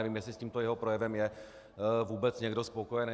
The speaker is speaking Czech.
Nevím, jestli s tímto jeho projevem je vůbec někdo spokojený.